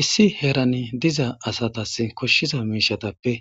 Issi heran diza asatas koshiza mishatappe